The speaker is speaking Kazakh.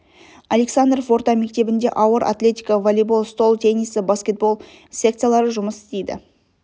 александров орта мектебінде ауыр атлетика волейбол стол теннисі баскетбол секциялары жұмыс істейді